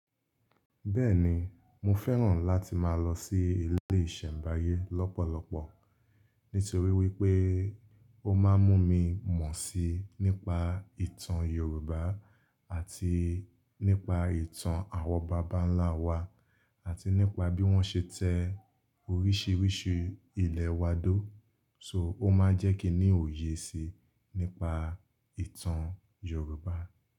Bẹ́ẹ̀ni, mo fẹ́ràn láti máa lọ sí ilé ìṣẹ̀mbáyé lọ́pọ̀lọpọ̀ nítorí wípé ó máa ń mú mi mọ̀ sí nípa ìtàn Yorùbá àti nípa ìtàn àwọn bàbá ńlá wa àti nípa bí wọ́n ṣe tẹ oríṣiríṣi ilẹ̀ wa dó. So ó máa ń jẹ́ kí n óyé síi nípa ìtàn Yorùbá.